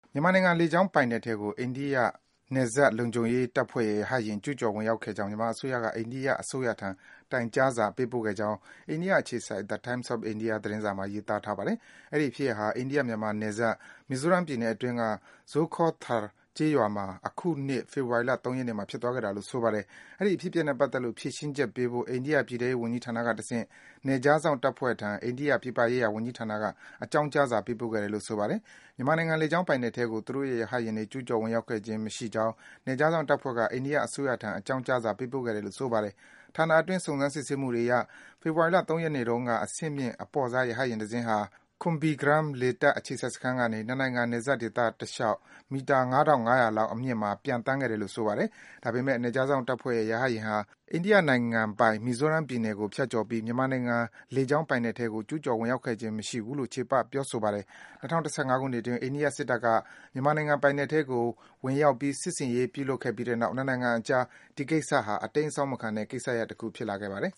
မြန်မာနိုင်ငံ လေကြောင်းပိုင်နက်ထဲကို အိန္ဒိယနယ်စပ်လုံခြုံရေး တပ်ဖွဲ့ရဲ့ ရဟတ်ယာဉ် ကျူးကျော် ဝင်ရောက်ခဲ့ကြောင်း မြန်မာအစိုးရက အိန္ဒိယအစိုးထံ တိုင်ကြားစာ ပေးပို့ခဲ့ကြောင်း အိန္ဒိယ အခြေစိုက် The Times of India သတင်းစာမှာ ရေးသားထားပါတယ်။ အဲဒီ ဖြစ်ရပ်ဟာ အိန္ဒိယ - မြန်မာနယ်စပ် မီဇိုးရမ်းမြို့နယ်အတွင်းက Zokhawthar ကျေးရွာမှာ အခုနှစ် ဖေဖော်ဝါရီလ ၃ ရက်နေ့မှာ ဖြစ်သွားခဲ့တာလို့ ဆိုပါတယ်။ အဲဒီအဖြစ်အပျက်နဲ့ ပတ်သက်လို့ ဖြေရှင်းချက်ပေးဖို့ အိန္ဒိယပြည်ထဲရေး ဝန်ကြီးဌာနကတဆင့် နယ်ခြားစောင့်တပ်ဖွဲ့ထံ အိန္ဒိယ ပြည်ပရေးရာ ဝန်ကြီးဌာနက အကြောင်းကြားစာ ပေးပို့ခဲ့တယ်လို့ ဆိုပါတယ်။ မြန်မာနိုင်ငံ လေကြောင်းပိုင်နက်ထဲကို သူတို့ရဲ့ ရဟတ်ယာဉ်တွေ ကျူးကျော် ဝင်ရောက်ခဲ့ခြင်း မရှိကြောင်း နယ်ခြားစောင့်တပ်ဖွဲ့က အိန္ဒိယအစိုးရထံ အကြောင်းကြားစာ ပေးပို့ခဲ့တယ်လို့ ဆိုပါတယ်။ ဌာနအတွင်း စုံစမ်း စစ်ဆေးမှုတွေအရ - ဖေဖော်ဝါရီလ ၃ ရက်နေ့တုန်းက အဆင့်မြင့် အပေါ့စား ရဟတ်ယာဉ်တစင်းဟာ Kumbhirgram လေတပ် အခြေစိုက်စခန်းကနေ နှစ်နိုင်ငံ နယ်စပ်ဒေသတလျှောက် မီတာ ၅,၅၀၀ လောက် အမြင့်မှာ ပျံသန်းခဲ့တယ်လို့ ဆိုပါတယ်။ ဒါပေမယ့် နယ်ခြားစောင့်တပ်ဖွဲ့ရဲ့ ရဟတ်ယာဉ်ဟာ အိန္ဒိယနိုင်ငံပိုင် မီဇိုးရမ်း ပြည်နယ်ကို ဖြတ်ကျော်ပြီး မြန်မာနိုင်ငံ လေကြောင်း ပိုင်နက်ထဲကို ကျူးကျော် ဝင်ရောက်ခဲ့ခြင်း မရှိဘူးလို့ ချေပ ပြောဆိုပါတယ်။ ၂၀၁၅ ခုနှစ်အတွင်း အိန္ဒိယ စစ်တပ်က မြန်မာနိုင်ငံ ပိုင်နက်ထဲကို ဝင်ရောက်ပြီး စစ်ဆင်ရေး ပြုလုပ်ခဲ့ပြီးတဲ့နောက် နှစ်နိုင်ငံအကြား ဒီကိစ္စဟာ အတိမ်းအစောင်းမခံတဲ့ ကိစ္စရပ်တခု ဖြစ်လာခဲ့ပါတယ်။